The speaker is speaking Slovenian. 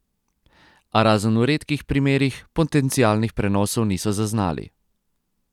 A razen v redkih primerih potencialnih prenosov niso zaznali.